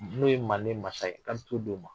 N'o ye manden masa ye k'a bi t'o d'o ma.